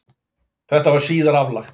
Þetta var síðar aflagt